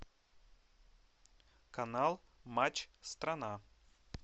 канал матч страна